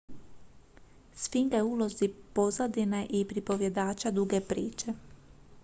sfinga je u ulozi pozadine i pripovjedača duge priče